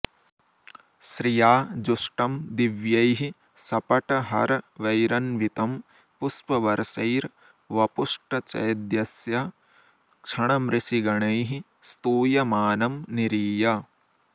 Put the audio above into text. श्रिया जुष्टं दिव्यैः सपटहरवैरन्वितं पुष्पवर्षैर्वपुष्टचैद्यस्य क्षणमृषिगणैः स्तूयमानं निरीय